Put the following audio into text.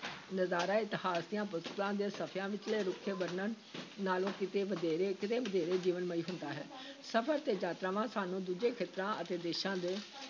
ਨਜ਼ਾਰਾ ਇਤਿਹਾਸ ਦੀਆਂ ਪੁਸਤਕਾਂ ਦੇ ਸਫ਼ਿਆਂ ਵਿਚਲੇ ਰੁੱਖੇ ਵਰਣਨ ਨਾਲੋਂ ਕਿਤੇ ਵਧੇਰੇ ਕਿਤੇ ਵਧੇਰੇ ਜੀਵਨਮਈ ਹੁੰਦਾ ਹੈ ਸਫ਼ਰ ਤੇ ਯਾਤਰਾਵਾਂ ਸਾਨੂੰ ਦੂਜੇ ਖੇਤਰਾਂ ਅਤੇ ਦੇਸ਼ਾਂ ਦੇ